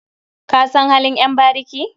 Ka san halin ƴan bariki?